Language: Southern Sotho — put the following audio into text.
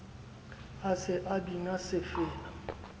a se a bina sefela